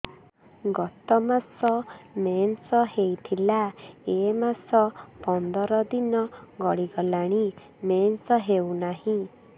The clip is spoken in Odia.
ଗତ ମାସ ମେନ୍ସ ହେଇଥିଲା ଏ ମାସ ପନ୍ଦର ଦିନ ଗଡିଗଲାଣି ମେନ୍ସ ହେଉନାହିଁ